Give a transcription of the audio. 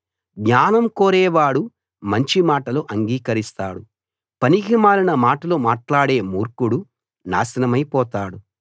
జ్ఞానం కోరేవాడు మంచి మాటలు అంగీకరిస్తాడు పనికిమాలిన మాటలు మాట్లాడే మూర్ఖుడు నాశనమైపోతాడు